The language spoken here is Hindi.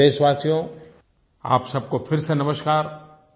प्यारे देशवासियो आप सब को फिर से नमस्कार